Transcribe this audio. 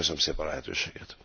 Köszönöm szépen a lehetőséget!